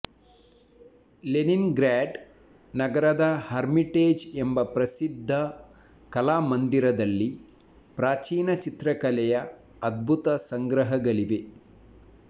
Lenin grad ನಗರದ Hermitage ಎಂಬ ಪ್ರಸಿದ್ಧ ಕಲಾಮಂದಿರದಲ್ಲಿ ಪ್ರಾಚೀನ ಚಿತ್ರಕಲೆಯ ಅದ್ಭುತ ಸಂಗ್ರಹಗಳಿವೆ